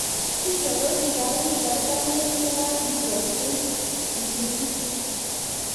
Syria:Kakipar piik 40 eng yekakipokchi msikiti